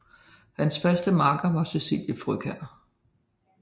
Hans faste makker var Cecilie Frøkjær